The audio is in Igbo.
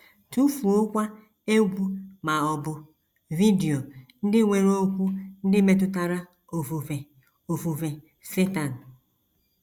Tụfuokwa egwú ma ọ bụ vidio ndị nwere okwu ndị metụtara ofufe ofufe Setan.